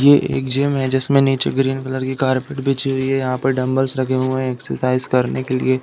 ये एक जिम है जिसमें नीचे ग्रीन कलर की कारपेट बिछी हुई है। यहाँ पर डम्बल्स रखे हुए हैं एक्सरसाइज़ करने के लिए।